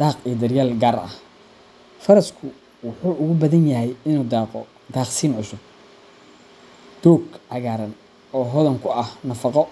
daaq iyo daryeel gaar ah. Farasku wuxuu ugu badan yahay inuu daaqo daaqsin cusub, doog cagaaran oo hodan ku ah nafaqo